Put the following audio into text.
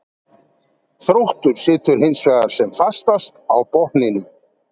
Þróttur situr hinsvegar sem fastast á botninum.